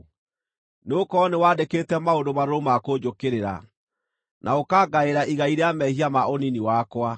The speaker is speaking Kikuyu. Nĩgũkorwo nĩ wandĩkĩte maũndũ marũrũ ma kũnjũkĩrĩra, na ũkaangaĩra igai rĩa mehia ma ũnini wakwa.